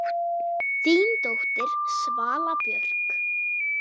Þín dóttir, Svala Björk.